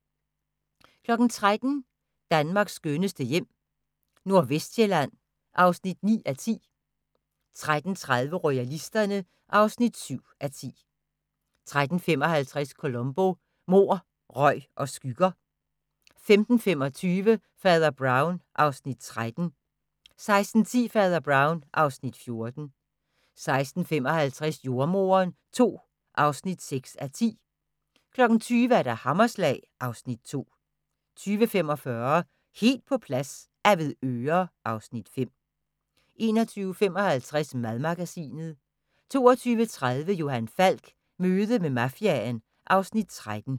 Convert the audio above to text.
13:00: Danmarks skønneste hjem - Nordvestsjælland (9:10) 13:30: Royalisterne (7:10) 13:55: Columbo: Mord, røg og skygger 15:25: Fader Brown (Afs. 13) 16:10: Fader Brown (Afs. 14) 16:55: Jordemoderen II (6:10) 20:00: Hammerslag (Afs. 2) 20:45: Helt på plads - Avedøre (Afs. 5) 21:55: Madmagasinet 22:30: Johan Falk: Møde med mafiaen (Afs. 13)